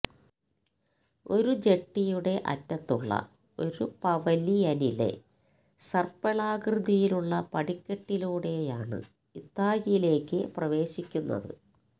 ഒരു ജെട്ടിയുടെ അറ്റത്തുള്ള ഒരു പവലിയനിലെ സർപ്പിളാകൃതിയിലുള്ള പടിക്കെട്ടിലൂടെയാണ് ഇത്തായിലേയ്ക്ക് പ്രവേശിക്കുന്നത്